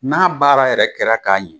N'a baara yɛrɛ kɛra k'a ɲɛ